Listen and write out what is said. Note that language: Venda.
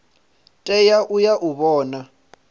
tea u ya u vhona